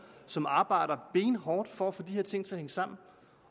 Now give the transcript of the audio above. som arbejder benhårdt for at få de her ting til at hænge sammen